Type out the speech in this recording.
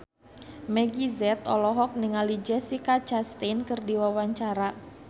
Meggie Z olohok ningali Jessica Chastain keur diwawancara